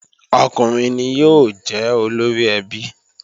Ọkùnrin ni yóò jẹ́ olóríẹbí